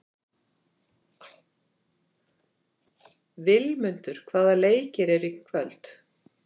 Vilmundur, hvaða leikir eru í kvöld?